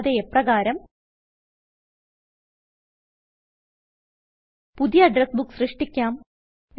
കൂടാതെ എപ്രകാരം പുതിയ അഡ്രസ് ബുക്ക് സൃഷ്ടിക്കാം